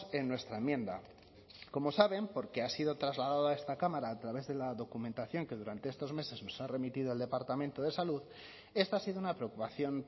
en nuestra enmienda como saben porque ha sido trasladado a esta cámara a través de la documentación que durante estos meses nos ha remitido al departamento de salud esta ha sido una preocupación